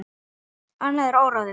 Annað er óráðið.